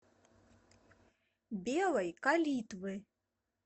белой калитвы